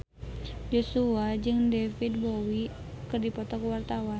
Joshua jeung David Bowie keur dipoto ku wartawan